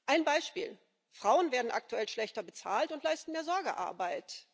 Ein Beispiel Frauen werden aktuell schlechter bezahlt und leisten mehr Sorgearbeit.